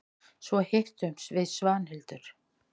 Svo hittumst við Svanhildur.